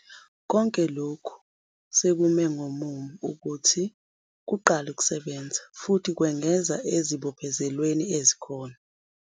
Konke lokhu sekume ngomumo ukuthi kuqale ukusebenza, futhi kwengeza ezibophezelweni ezikhona.